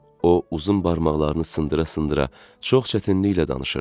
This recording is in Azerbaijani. O uzun barmaqlarını sındıra-sındıra çox çətinliklə danışırdı.